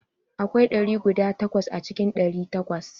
Akwai ɗari guda takwas a cikin ɗari takwas.